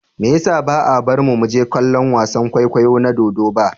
Me yasa ba a bar mu mu je kallon wasan kwaikwayo na dodo ba?